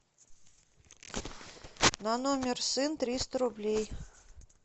на номер сын триста рублей